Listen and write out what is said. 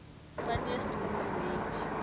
funniest movies made